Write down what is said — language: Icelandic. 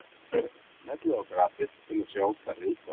Smellið á grafið til að sjá stærri útgáfu.